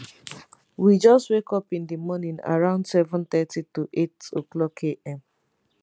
we just wake up in di morning around 730 to 800 am